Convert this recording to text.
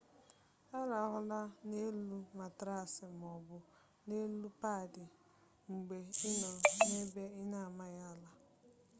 arahụla n'elu matraasi ma ọ bụ n'elu paadị mgbe ị nọ n'ebe ị na-amaghị ala